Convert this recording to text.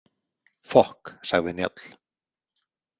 Fokk, sagði Njáll.